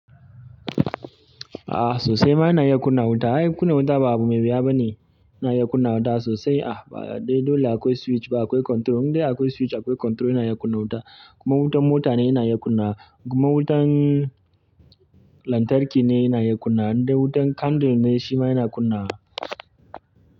A sosai ma ina iya kunna wuta. Ai kunna wuta ba abu mai yawa bane. Yana iya kunna wuta sosai. Ba dai dole akwai switch ba, akwai control. Indai akwai switch akwai control ina iya kunna wuta. Kuma wutan motane ina iya kunnawa, kuma wutan lantarki ne ina iya kunnawa. Indai wutan candle ne shi ma ina iya kunnawa.